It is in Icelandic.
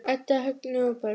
Edda, Högni og börn.